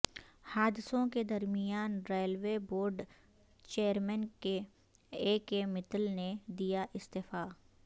حادثوں کے درمیان railway board chairman A K Mittal نے دیا استعفی